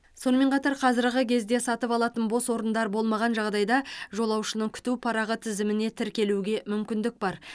сонымен қатар қазіргі кезде сатып алатын бос орындар болмаған жағдайда жолаушының күту парағы тізіміне тіркелуге мүмкіндік бар